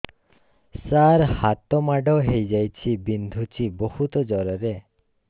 ସାର ହାତ ମାଡ଼ ହେଇଯାଇଛି ବିନ୍ଧୁଛି ବହୁତ ଜୋରରେ